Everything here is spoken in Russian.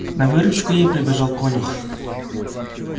на выручку ей прибежал конюх